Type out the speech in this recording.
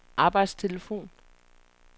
arbejdstelefon